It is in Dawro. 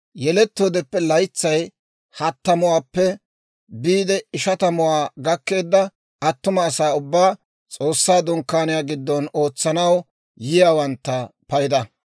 yelettoodeppe laytsay hattamuwaappe biide ishatamuwaa gakkeedda attuma asaa ubbaa, S'oossaa Dunkkaaniyaa giddon ootsanaw yiyaawantta payda.